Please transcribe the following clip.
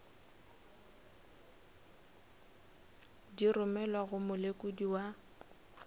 di romelwago go molekodi wa